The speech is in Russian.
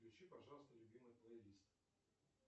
включи пожалуйста любимый плейлист